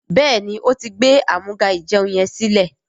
béèni,o tí gbé Amúga-ìjẹun yén silẹ.